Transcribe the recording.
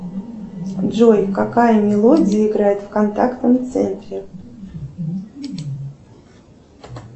джой какая мелодия играет в контактном центре